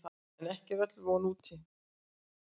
En ekki er öll von úti.